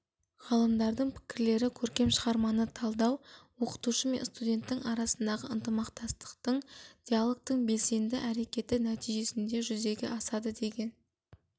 ғалымдардың пікірлері көркем шығарманы талдау оқытушы мен студенттің арасындағы ынтымақтастық диалогтың белсенді әрекеті нәтижесінде жүзеге асады деген